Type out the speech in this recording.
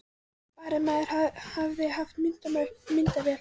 Bara að maður hefði haft myndavél þá!